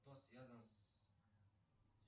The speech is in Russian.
кто связан с